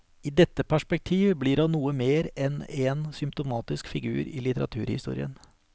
I dette perspektiv blir han noe mer enn en symptomatisk figur i litteraturhistorien.